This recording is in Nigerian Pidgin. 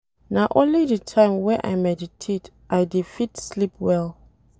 Na only di time wey I meditate I dey fit sleep well.